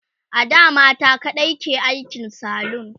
ada mata kaɗai ke aikin salon